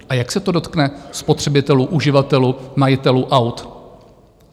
A jak se to dotkne spotřebitelů, uživatelů, majitelů aut?